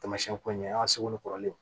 Taamasiyɛn ko in an ka segu ni kɔrɔlenw ye